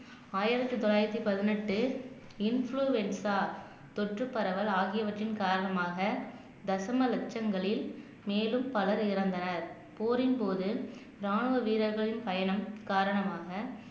ஆயிரத்தி தொள்ளாயிரத்தி பதினெட்டு இன்ஃபுளுவென்சா தொற்று பரவல் ஆகியவற்றின் காரணமாக தசம லக்ஷங்களில் மேலும் பலர் இறந்தனர் போரின்போது ராணுவ வீரர்கள் பயணம் காரணமாக